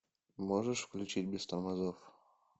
можешь включить без тормозов